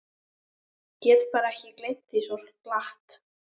Get bara ekki gleymt því svo glatt.